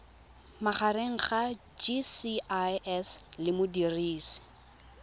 magareng ga gcis le modirisi